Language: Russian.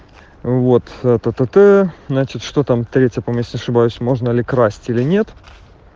вот то-то значит что там третье месяца ошибаюсь можно ли красить или нет